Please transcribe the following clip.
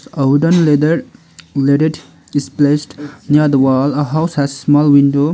a wooden ladder laided is placed near the wall a house has small window.